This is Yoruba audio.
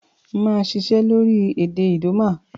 Màa sisẹ́ lórí èdè Idoma